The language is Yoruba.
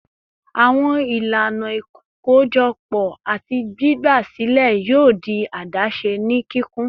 Awọn ilana ikojọpọ ati gbigba silẹ yoo di adaṣe ni kikun